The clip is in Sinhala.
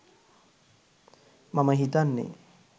මම හිතන්නේ